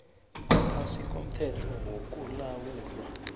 ngaphasi komthetho wokulawulwa